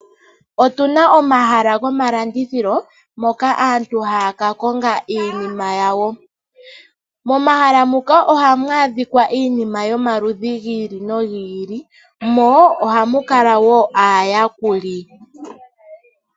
Otuna omahala gomalandithilo moka aantu haya kakonga iinima yawo. Momahala muka ohamu adhika iinima yomaludhi gi ili nogi ili mo ohamu kala wo aayakuli.